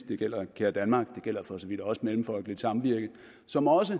det gælder care danmark og det gælder for så vidt også mellemfolkeligt samvirke som også